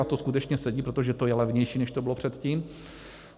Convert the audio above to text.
A to skutečně sedí, protože to je levnější, než to bylo předtím.